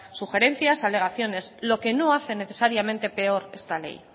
sugerencias alegaciones lo que no hace necesariamente peor esta ley